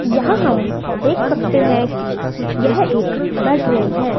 यहां हम देख सकते है कि यह एक बेडरूम है।